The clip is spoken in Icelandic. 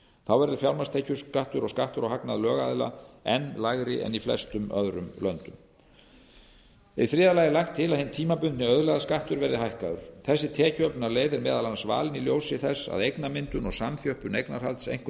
þá verður fjármagnstekjuskattur og skattur á hagnað lögaðila enn lægri en í flestum öðrum löndum í þriðja lagi er lagt til að hinn tímabundni auðlegðarskattur verði hækkaður þessi tekjuöflunarleið er meðal annars valin í ljósi þess að eignamyndun og samþjöppun eignarhalds einkum